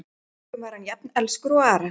Að engum var hann jafn elskur og Ara.